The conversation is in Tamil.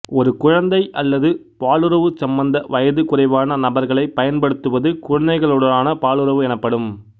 ஒரு குழந்தை அல்லது பாலுறவுச் சம்மத வயது குறைவான நபர்களைப் பயன்படுத்துவது குழந்தைகளுடனான பாலுறவு எனப்படும்